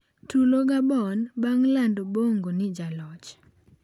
Tulo Gabon bang' lando Bongo ni jaloch